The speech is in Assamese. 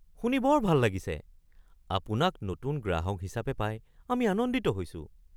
শুনি বৰ ভাল লাগিছে! আপোনাক নতুন গ্ৰাহক হিচাপে পাই আমি আনন্দিত হৈছোঁ।